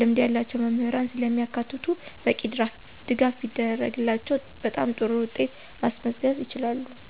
ልምድ ያላቸው መምህራንን ስለሚያካትቱ በቂ ድጋፍ ሲደረግላቸው በጣም ጥሩ ውጤት ማስመዝገብ ይችላሉ።